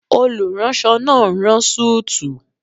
Olùránsọ náà n rán súùtù